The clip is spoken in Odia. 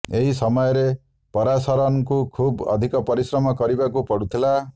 ଏହି ସମୟରେ ପରାଶରନଙ୍କୁ ଖୁବ୍ ଅଧିକ ପରିଶ୍ରମ କରିବାକୁ ପଡୁଥିଲା